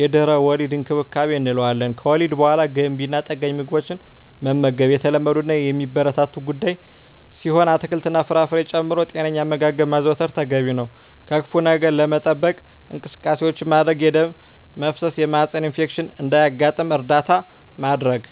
የድህረ-ወሊድ እንክብካቤ እንለዋለን። ከወሊድ በሃላ ገንቢ እና ጠጋኝ ምግቦችን መመገብ የተለመዱ እና የሚበረታቱ ጉዳይ ሲሆን አትክልት እና ፍራፍሬ ጨምሮ ጤነኛ አመጋገብ ማዘውተር ተገቢ ነው። ከክፋ ነገር ለመጠበቅ እንቅስቃሴዎች ማድረግ የደም መፍሰስ የማህፀን ኢንፌክሽን እንዳያጋጥም እርዳታ ማድረግ።